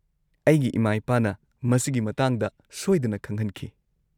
-ꯑꯩꯒꯤ ꯏꯃꯥ-ꯏꯄꯥꯅ ꯃꯁꯤꯒꯤ ꯃꯇꯥꯡꯗ ꯁꯣꯏꯗꯅ ꯈꯪꯍꯟꯈꯤ ꯫